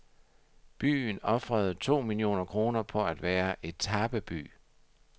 Byen ofrede to millioner kroner på at være etapeby.